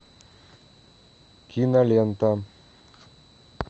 кинолента